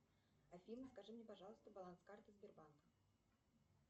афина скажи мне пожалуйста баланс карты сбербанка